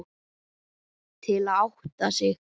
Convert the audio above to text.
Til að átta sig.